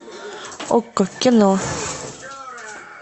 окко кино